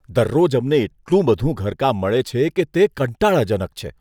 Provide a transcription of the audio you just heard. દરરોજ અમને એટલું બધું ઘરકામ મળે છે કે તે કંટાળાજનક છે.